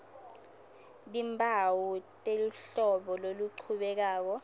timphawu teluhlolo loluchubekako